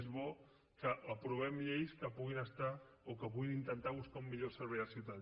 és bo que aprovem lleis que puguin estar o que puguin intentar buscar un millor servei als ciutadans